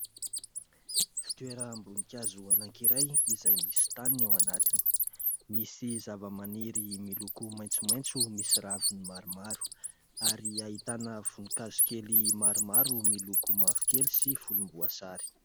Fitoeram-boninkazo anankiray izay misy tany ao anatiny. Misy zavamaniry miloko maitsomaitso misy raviny maromaro ary ahitana voninkazo kely maromaro miloko mavokely sy volomboasary.